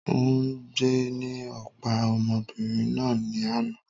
Òùngbẹ ni ó pa ọmọbìnrin náà ni àná